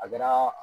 A kɛra